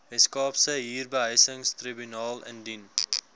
weskaapse huurbehuisingstribunaal indien